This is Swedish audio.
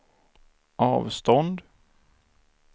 avstånd